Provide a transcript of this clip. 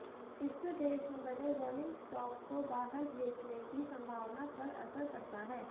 इससे देश में बने रॉलिंग स्टॉक को बाहर भेजने की संभावना पर असर पड़ता है